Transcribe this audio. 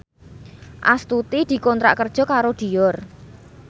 Astuti dikontrak kerja karo Dior